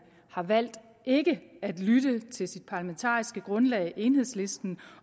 har valgt ikke at lytte til sit parlamentariske grundlag enhedslisten